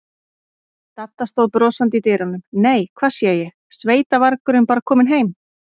Dadda stóð brosandi í dyrunum: Nei, hvað sé ég, sveitavargurinn bara kominn heim.